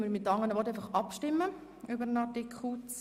Mit anderen Worten: Wir stimmen jetzt über den Artikel ab.